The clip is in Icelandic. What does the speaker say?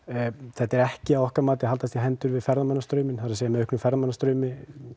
þetta er ekki að okkar mati að haldast í hendur við ferðamannastrauminn það er með auknum ferðamannastraumi